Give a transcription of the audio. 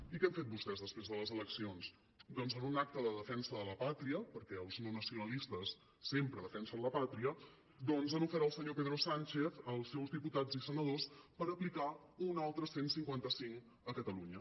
i què han fet vostès després de les eleccions doncs en un acte de defensa de la pàtria perquè els no nacionalistes sempre defensen la pàtria doncs han ofert al senyor pedro sánchez els seus diputats i senadors per aplicar un altre cent i cinquanta cinc a catalunya